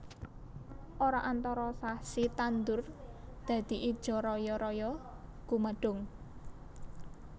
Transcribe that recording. Ora antara sasi tandur dadi ijo royo royo gumadhung